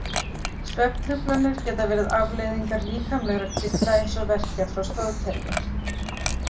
Svefntruflanir geta verið afleiðingar líkamlegra kvilla eins og verkja frá stoðkerfi.